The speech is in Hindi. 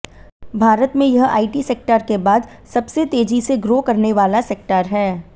भारत में यह आईटी सेक्टर के बाद सबसे तेजी से ग्रो करने वाला सेक्टर है